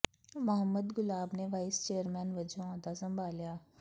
ਮੁਹੰਮਦ ਗੁਲਾਬ ਨੇ vice chairman ਵਜੋਂ ਅੱਜ ਅਹੁਦਾ ਸੰਭਾਲਿਆ